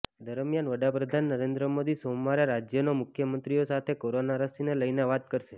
દરમિયાન વડાપ્રધાન નરેન્દ્ર મોદી સોમવારે રાજ્યોના મુખ્યમંત્રીઓ સાથે કોરોના રસીને લઈને વાત કરશે